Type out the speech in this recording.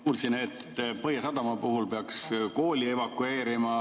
Kuulsin, et Põhjasadama puhul peaks kooli evakueerima.